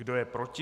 Kdo je proti?